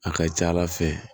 A ka ca ala fɛ